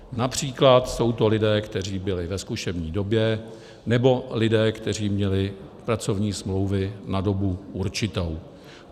Například jsou to lidé, kteří byli ve zkušební době, nebo lidé, kteří měli pracovní smlouvy na dobu určitou.